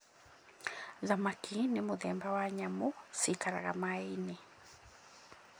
Thamaki nĩ mũthemba wa nyamũ ciikaraga maaĩ-inĩ.